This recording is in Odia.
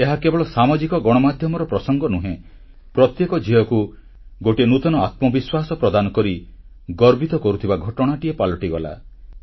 ଏହା କେବଳ ସାମାଜିକ ଗଣମାଧ୍ୟମର ପ୍ରସଙ୍ଗ ନୁହେଁ ପ୍ରତ୍ୟେକ ଝିଅକୁ ଗୋଟିଏ ନୂତନ ଆତ୍ମବିଶ୍ୱାସ ପ୍ରଦାନ କରି ଗର୍ବିତ କରୁଥିବା ଘଟଣାଟିଏ ପାଲଟିଗଲା